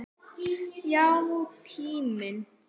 Já, tíminn.